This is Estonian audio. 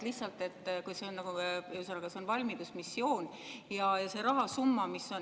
Ühesõnaga, see on valmidusmissioon.